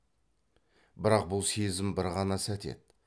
бірақ бұл сезім бір ғана сәт еді